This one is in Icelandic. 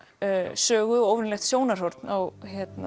sögu og óvenjulegt sjónarhorn á